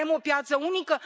vrem o piață unică,